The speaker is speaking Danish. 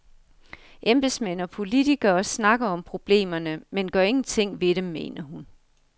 Embedsmænd og politikere snakker om problemerne, men gør ingenting ved dem, mener hun.